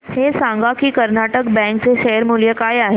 हे सांगा की कर्नाटक बँक चे शेअर मूल्य काय आहे